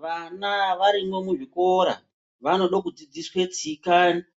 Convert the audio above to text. Vana varimwo mu zvikora vanode ku dzidziswe tsika